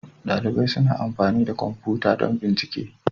Dalibai suna amfani da kwamfuta don bincike.